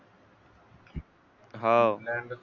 हाव